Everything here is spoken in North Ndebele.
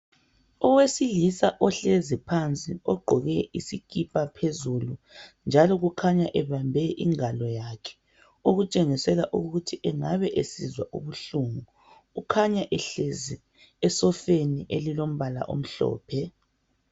Owesilisa ohlezi phansi ogqoke isikipa phezulu njalo kukhanya ebambe ingalo yakhe okutshengisela ukuthi engabe esizwa ubuhlungu. Kukhanya ehlezi esofeni eliombala omhlophe.